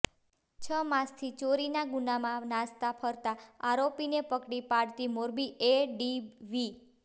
છ માસથી ચોરીના ગુનામાં નાસતા ફરતા આરોપીને પકડી પાડતી મોરબી એ ડીવી